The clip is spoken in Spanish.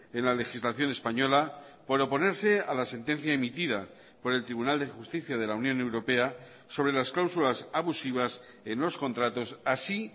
en la legislación española por oponerse a la sentencia emitida por el tribunal de justicia de la unión europea sobre las cláusulas abusivas en los contratos así